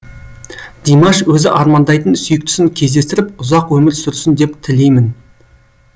димаш өзі армандайтын сүйіктісін кездестіріп ұзақ өмір сүрсін деп тілеймін